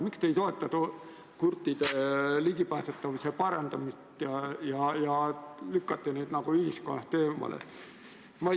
Miks te ei toeta kurtide ligipääsetavuse parandamist ja lükkate need inimesed nagu ühiskonnast eemale?